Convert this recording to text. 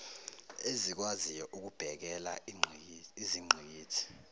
ezikwaziyo ukubhekela izingqikithi